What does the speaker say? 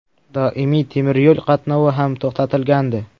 Doimiy temiryo‘l qatnovi ham to‘xtatilgandi.